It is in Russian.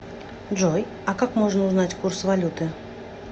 джой а как можно узнать курс валюты